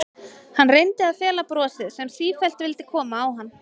Hann reyndi að fela brosið sem sífellt vildi koma á hann.